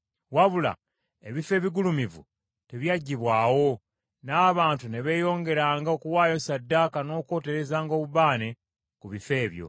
Wabula, ebifo ebigulumivu tebyaggibwawo, n’abantu ne beeyongeranga okuwaayo ssaddaaka n’okwoterezanga obubaane ku bifo ebyo.